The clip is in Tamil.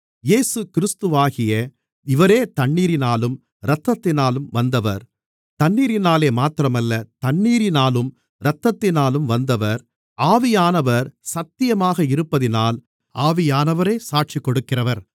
இயேசுகிறிஸ்துவாகிய இவரே தண்ணீரினாலும் இரத்தத்தினாலும் வந்தவர் தண்ணீரினாலே மாத்திரமல்ல தண்ணீரினாலும் இரத்தத்தினாலும் வந்தவர் ஆவியானவர் சத்தியமாக இருப்பதினால் ஆவியானவரே சாட்சிகொடுக்கிறவர்